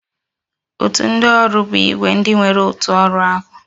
Òtù ndị ọrụ bụ ìgwè ndị nwere otu ọrụ ahụ